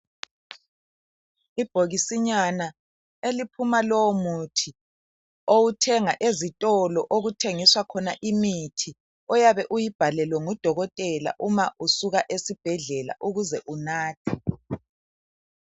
Ibhokisinyana eliphuma lowo muthi owuthenga ezitolo okuthengiswa khona imithi oyabe uyibhalelwe ngudokotela uma usuka esibhedlela ukuze unathe.